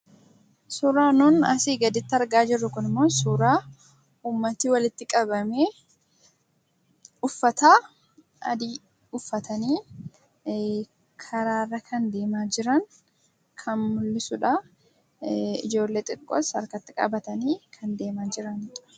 Suuraan nun asiin gaditti argaa jirru kun immoo suura namooti walitti qabamee uffata adii uffatanii karaarra deemaa kan jiran kan mul'isuudha. Ijoollee xixiqqoos harka qabatanii deemaa kan jiraniidha.